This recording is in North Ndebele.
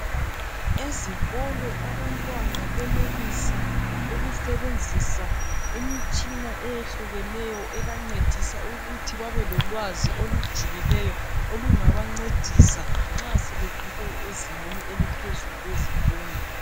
Ezikolo abantwana benelisa ukusebenzisa mitshina eyehlukeneyo abancedisa ukuthi babe lolwazi olujulileyo olungabancedisa nxa sebefike ezingeni eliphezulu kwezemfundo.